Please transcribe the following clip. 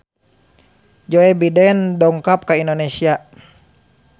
Joe Biden dongkap ka Indonesia